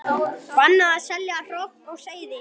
Bannað að selja hrogn og seiði